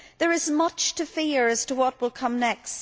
There is much to fear as to what will come next.